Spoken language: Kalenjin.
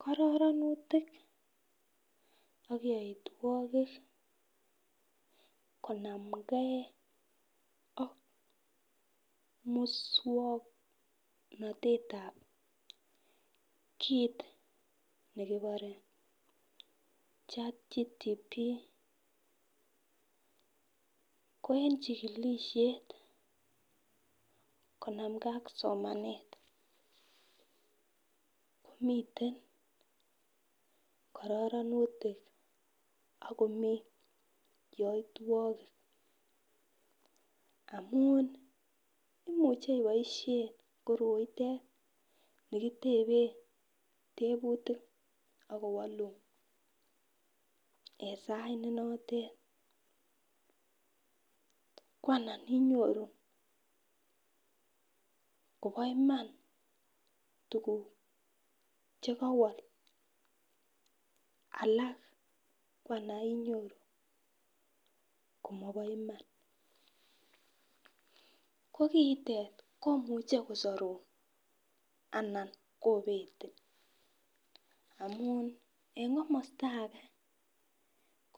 Kororonutik ak yoitwokik konamgee ak muswoknotetab kit nekibore 'chatgpt' ko en chikilishet konamgee ak somanet, miten kororonutik ak komii yoitwokik amun imuche iboishen koroitet nikitepen teputik ak kowolun en sait notet ko anan inyoru kobo Iman tukuk chekowo ko alak ko anan inyoru komobo Iman, ko kitet komuche kosorun anan kinetin amun en komosto age